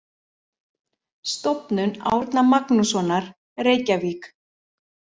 Stofnun Árna Magnússonar, Reykjavík.